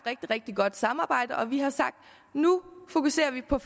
rigtig godt samarbejde og vi har sagt at nu fokuserer vi på